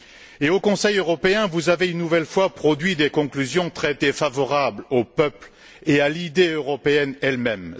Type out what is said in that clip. Et, au Conseil européen, vous avez une nouvelle fois produit des conclusions très défavorables au peuple et à l'idée européenne elle même.